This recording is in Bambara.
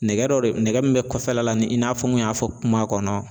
Nɛgɛ dɔ de nɛgɛ min be kɔfɛla la ni i n'a fɔ n kun y'a fɔ kuma kɔnɔ